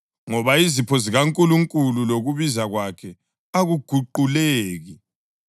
ngoba izipho zikaNkulunkulu lokubiza kwakhe akuguquleki.